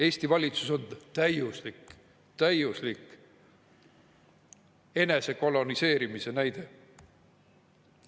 Eesti valitsus on täiuslik enesekoloniseerimise näide.